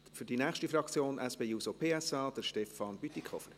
– Für die Fraktion SP-JUSO-PSA, Stefan Bütikofer.